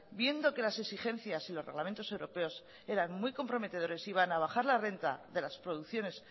viendo que las exigencias y los reglamentos europeos eran muy comprometedores iban a bajar la renta de las producciones